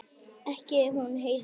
Ekki hún Heiða.